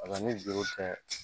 ni juru tɛ